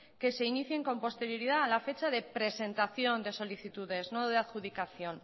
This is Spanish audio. que se inicie con posterioridad a la fecha de presentación de solicitudes no de adjudicación